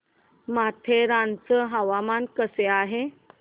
माथेरान चं हवामान कसं आहे